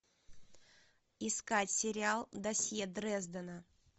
искать сериал досье дрездена